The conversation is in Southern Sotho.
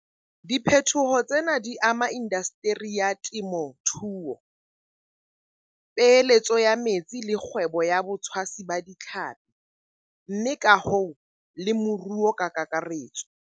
Diphetoho tsena di ama indaseteri ya temothuo, peeheletso ya metsi le kgwebo ya botshwasi ba ditlhapi mme ka hoo le moruo ka kakaretso.